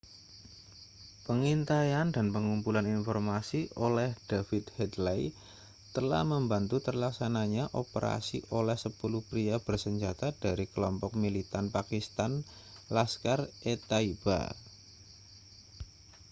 pengintaian dan pengumpulan informasi oleh david headley telah membantu terlaksananya operasi oleh 10 pria bersenjata dari kelompok militan pakistan laskhar-e-taiba